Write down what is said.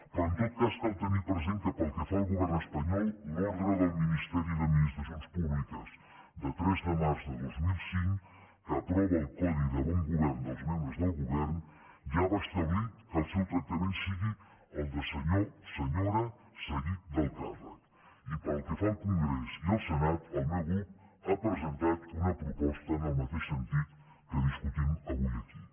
però en tot cas cal tenir present que pel que fa al govern espanyol l’ordre del ministeri d’administracions públiques de tres de març de dos mil cinc que aprova el codi de bon govern dels membres del govern ja va establir que el seu tractament sigui el de senyor senyora seguit del càrrec i pel que fa al congrés i al senat el meu grup ha presentat una proposta en el mateix sentit que discutim avui aquí